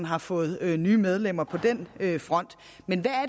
har fået nye medlemmer på den front men hvad er